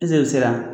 sera